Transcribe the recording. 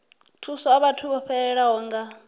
thusa vhathu vho fhelelwaho nga